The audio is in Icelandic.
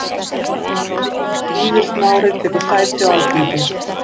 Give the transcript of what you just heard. Víðir Smári tekur sæti á Alþingi